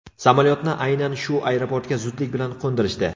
Samolyotni aynan shu aeroportga zudlik bilan qo‘ndirishdi.